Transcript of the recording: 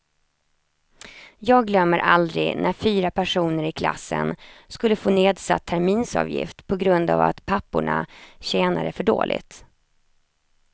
Jag glömmer aldrig när fyra personer i klassen skulle få nedsatt terminsavgift på grund av att papporna tjänade för dåligt.